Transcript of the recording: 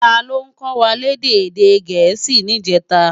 Táló kòwá lèdè èdè Gẹẹsi nijètá?